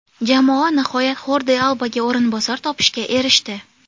Jamoa nihoyat Xordi Albaga o‘rinbosar topishga erishdi.